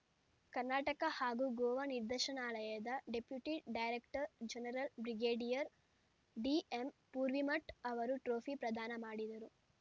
ಕರ್ನಾಟಕ ಹಾಗೂ ಗೋವಾ ನಿರ್ದೇಶನಾಲಯದ deputy director general brigadier DM Poorvimath ಅವರು ಟ್ರೋಫಿ ಪ್ರದಾನ ಮಾಡಿದರು